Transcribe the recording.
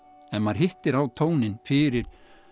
ef maður hittir á tóninn fyrir